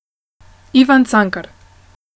Ivan Cankar.